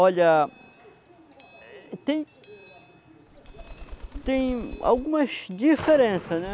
Olha, tem... tem algumas diferença, né?